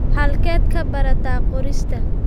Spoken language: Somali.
Halkeed ka baratay qorista?